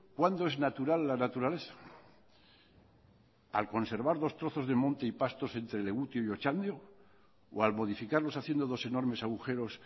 cuando es natural la naturaleza al conservar dos trozos de monte y pasto entre legutio y otxandio o al modificarlos haciendo dos enormes agujeros